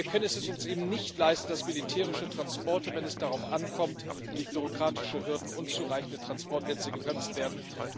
Wir können es uns eben nicht leisten, dass militärische Transporte, wenn es darauf ankommt, durch bürokratische Hürden und unzureichende Transportnetze gebremst werden.